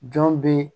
Jɔn be